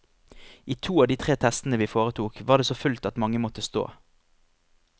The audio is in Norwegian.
I to av de tre testene vi foretok, var det så fullt at mange måtte stå.